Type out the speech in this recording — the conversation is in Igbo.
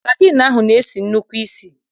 Sadịn ahụ na-esi nnukwu isì.